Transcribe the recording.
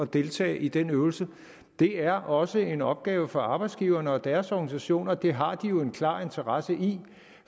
deltage i den øvelse det er også en opgave for arbejdsgiverne og deres organisation og det har de jo en klar interesse i